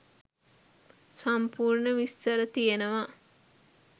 සම්පූර්ණ විස්තර තියෙනවා